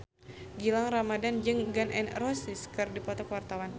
Gilang Ramadan jeung Gun N Roses keur dipoto ku wartawan